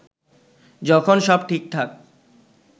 যখন সব ঠিকঠাক